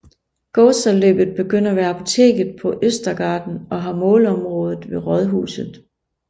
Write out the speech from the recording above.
Gåsaloppet begynder ved Apoteket på Östergatan og har målområde ved Rådhuset